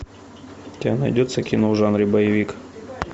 у тебя найдется кино в жанре боевик